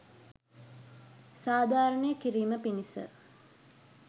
සාධාරණය කිරීම පිණිස